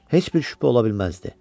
Heç bir şübhə ola bilməzdi.